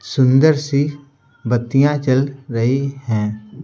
सुंदर सी बत्तियां चल रही हैं।